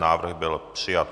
Návrh byl přijat.